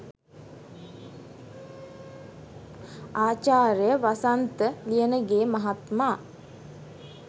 ආචාර්ය වසන්ත ලියනගේ මහත්මා